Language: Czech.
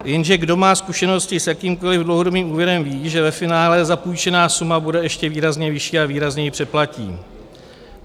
- "Jenže kdo má zkušenosti s jakýmkoliv dlouhodobým úvěrem, ví, že ve finále zapůjčená suma bude ještě výrazně vyšší a výrazně ji přeplatí.